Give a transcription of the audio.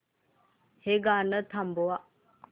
हे गाणं थांबव